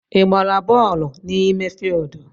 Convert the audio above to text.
I gbara bọọlụ n’ime fild?